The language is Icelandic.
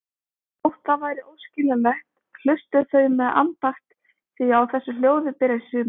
Þótt það væri óskiljanlegt, hlustuðu þau með andakt því á þessu ljóði byrjar sumarið.